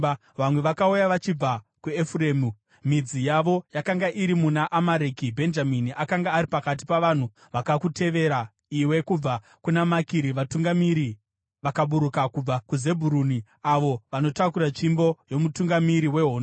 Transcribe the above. Vamwe vakauya vachibva kwaEfuremu, midzi yavo yakanga iri muna Amareki; Bhenjamini akanga ari pakati pavanhu vakakutevera iwe. Kubva kuna Makiri vatungamiri vakaburuka, kubva kuZebhuruni avo vanotakura tsvimbo yomutungamiri wehondo.